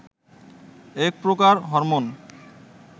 এক প্রকার হরমোন